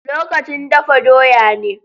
Lokacin dafa doya ne.